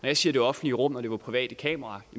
jeg siger det offentlige rum og at det var private kameraer